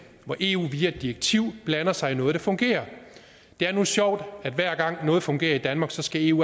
hvor eu via et direktiv blander sig i noget der fungerer det er nu sjovt at hver gang noget fungerer i danmark skal eu